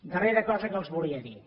darrera cosa que els volia dir